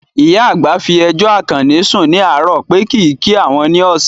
Ìyá àgbà fi ẹjọ́ Àkànní sùn ní àárò pé kìí kí àwọn ní ọ̀sán